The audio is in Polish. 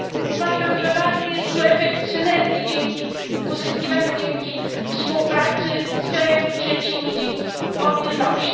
Uważam, że ważny jest tu efekt synergii, uzyskiwany dzięki współpracy z krajami trzecimi, dzięki mobilności.